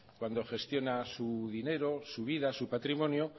cuando gestiona su dinero su vida su patrimonio